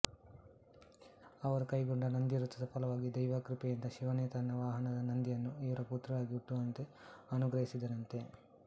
ಅವರು ಕೈಗೊಂಡ ನಂದಿವ್ರತದ ಫಲವಾಗಿ ದೈವಕೃಪೆಯಿಂದ ಶಿವನೇ ತನ್ನ ವಾಹನ ನಂದಿಯನ್ನು ಇವರ ಪುತ್ರರಾಗಿ ಹುಟ್ಟುವಂತೆ ಅನುಗ್ರಹಿಸಿದನಂತೆ